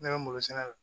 Ne bɛ malo sɛnɛ la